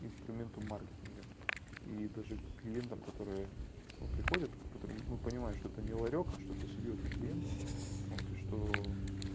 инструменты маркетинга и даже клиентам которые приходят мы понимаем что ты мне ларёк а что ты серьёзный клиент но ты что